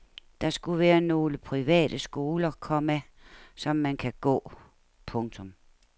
Der skulle være nogle private skoler, komma som man kan gå. punktum